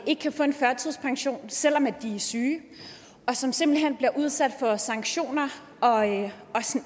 ikke kan få en førtidspension selv om de er syge og som simpelt hen bliver udsat for sanktioner og